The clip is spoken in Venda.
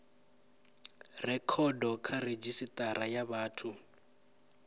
rekhoda kha redzhisitara ya vhathu